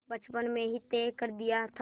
बचपन में ही तय कर दिया था